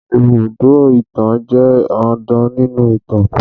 Ibùdó ìtàn jẹ́ dandan nínú ìtàn